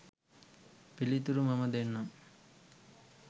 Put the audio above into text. පිලිතුරු මම දෙන්නම්.